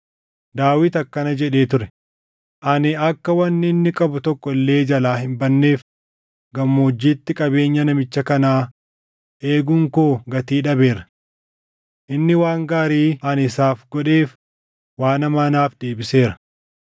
Daawit akkana jedhee ture; “Ani akka wanni inni qabu tokko illee jalaa hin badneef gammoojjiitti qabeenya namicha kanaa eeguun koo gatii dhabeera. Inni waan gaarii ani isaaf godheef waan hamaa naaf deebiseera.